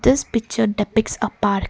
this picture depicts a park.